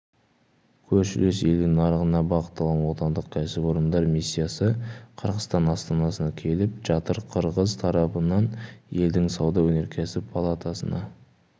көршілес елдің нарығына бағытталған отандық кәсіпорындар миссиясы қырғызстан астанасына келіп жатыр қырғыз тарапынан елдің сауда-өнеркәсіп палатасына